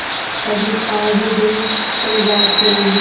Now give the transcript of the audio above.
अगर पार हो गये तो राज करेंगे